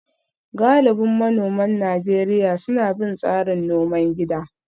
Galibin manoman Najeriya suna bin tsarin noman gida